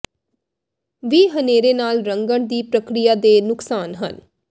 ਵੀ ਹਨੇਰੇ ਵਾਲ ਰੰਗਣ ਦੀ ਪ੍ਰਕਿਰਿਆ ਦੇ ਨੁਕਸਾਨ ਹਨ